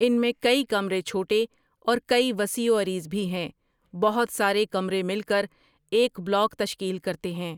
ان میں کئی کمرے چھوٹئے اور کئی وسیع و عریض بھی ہیں بہت سارے کمرے مل کر ایک بلاک تشکیل کرتے ہیں ۔